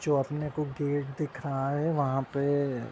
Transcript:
जो अपने को गेट दिख रहा है वहाँ पे --